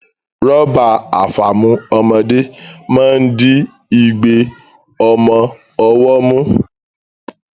Rọ́bà àfàmu ọmọdé máa ń di igbe ọmọ ọwọ́ mú